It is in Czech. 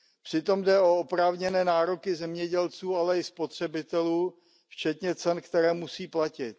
Přitom jde o oprávněné nároky zemědělců, ale i spotřebitelů, včetně cen, které musí platit.